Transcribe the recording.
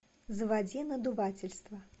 заводи надувательство